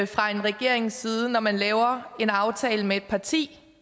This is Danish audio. fra en regerings side når man laver en aftale med et parti